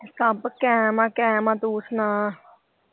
ਸਬ ਕੈਮ ਆ ਕੈਮ ਆ ਤੂੰ ਸੁਣਾ।